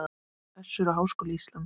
Össur og Háskóli Ísland.